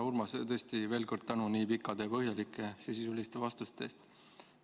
Urmas, tõesti veel kord tänu nii pikkade ja põhjalike sisuliste vastuste eest!